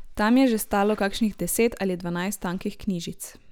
Tam je že stalo kakšnih deset ali dvanajst tankih knjižic.